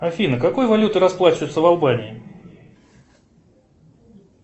афина какой валютой расплачиваются в албании